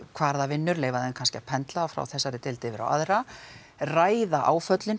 hvar það vinnur leyfa því kannski að frá þessari deild yfir á aðra ræða áföllin